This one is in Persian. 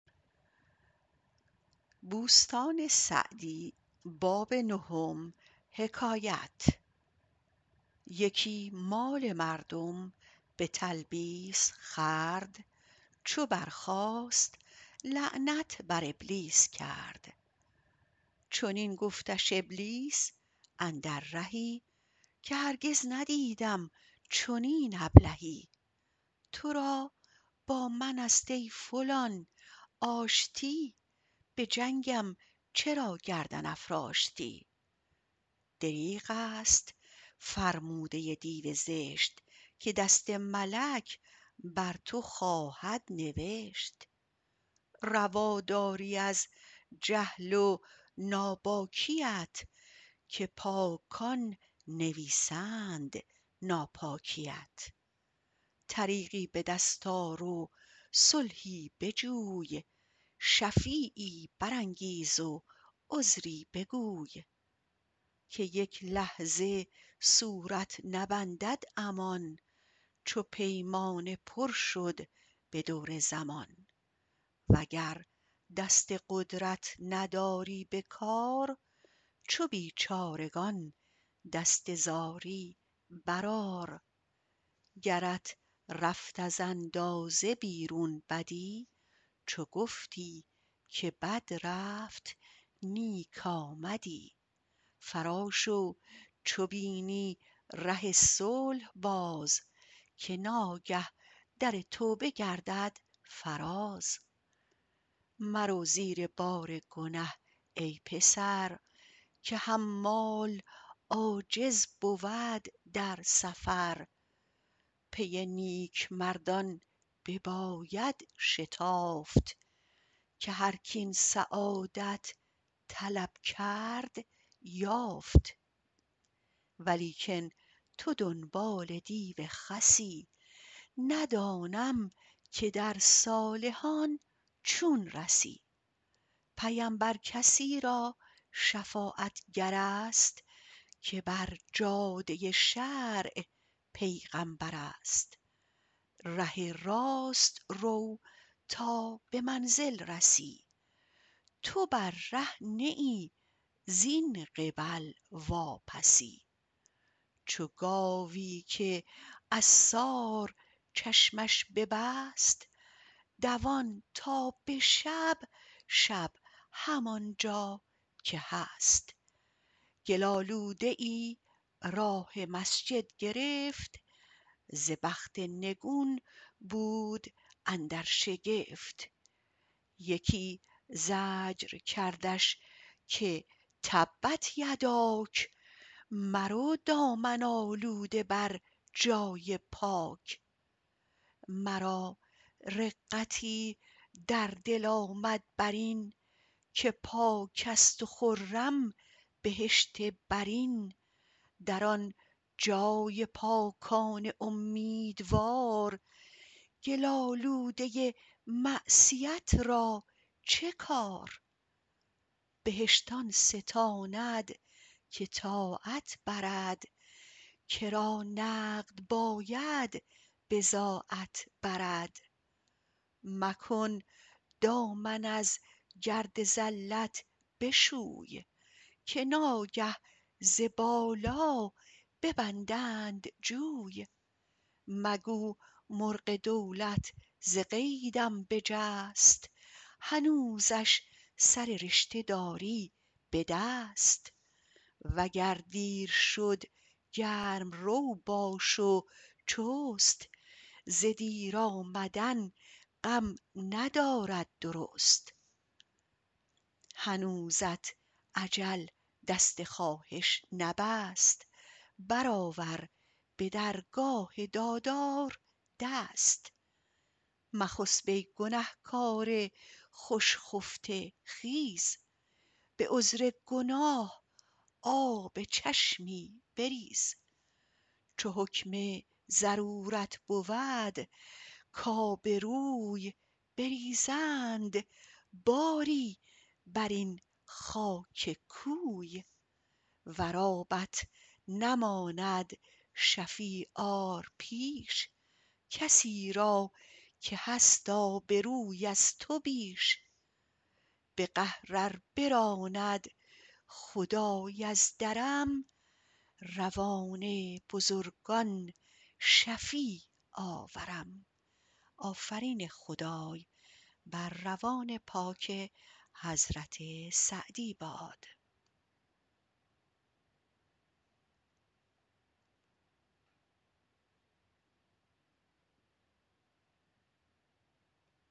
یکی مال مردم به تلبیس خورد چو برخاست لعنت بر ابلیس کرد چنین گفتش ابلیس اندر رهی که هرگز ندیدم چنین ابلهی تو را با من است ای فلان آشتی به جنگم چرا گردن افراشتی دریغ است فرموده دیو زشت که دست ملک بر تو خواهد نبشت روا داری از جهل و ناباکیت که پاکان نویسند ناپاکیت طریقی به دست آر و صلحی بجوی شفیعی برانگیز و عذری بگوی که یک لحظه صورت نبندد امان چو پیمانه پر شد به دور زمان وگر دست قدرت نداری به کار چو بیچارگان دست زاری بر آر گرت رفت از اندازه بیرون بدی چو گفتی که بد رفت نیک آمدی فرا شو چو بینی ره صلح باز که ناگه در توبه گردد فراز مرو زیر بار گنه ای پسر که حمال عاجز بود در سفر پی نیک مردان بباید شتافت که هر کاین سعادت طلب کرد یافت ولیکن تو دنبال دیو خسی ندانم که در صالحان چون رسی پیمبر کسی را شفاعتگر است که بر جاده شرع پیغمبر است ره راست رو تا به منزل رسی تو بر ره نه ای زین قبل واپسی چو گاوی که عصار چشمش ببست دوان تا به شب شب همانجا که هست گل آلوده ای راه مسجد گرفت ز بخت نگون بود اندر شگفت یکی زجر کردش که تبت یداک مرو دامن آلوده بر جای پاک مرا رقتی در دل آمد بر این که پاک است و خرم بهشت برین در آن جای پاکان امیدوار گل آلوده معصیت را چه کار بهشت آن ستاند که طاعت برد کرا نقد باید بضاعت برد مکن دامن از گرد زلت بشوی که ناگه ز بالا ببندند جوی مگو مرغ دولت ز قیدم بجست هنوزش سر رشته داری به دست وگر دیر شد گرم رو باش و چست ز دیر آمدن غم ندارد درست هنوزت اجل دست خواهش نبست بر آور به درگاه دادار دست مخسب ای گنه کار خوش خفته خیز به عذر گناه آب چشمی بریز چو حکم ضرورت بود کآبروی بریزند باری بر این خاک کوی ور آبت نماند شفیع آر پیش کسی را که هست آبروی از تو بیش به قهر ار براند خدای از درم روان بزرگان شفیع آورم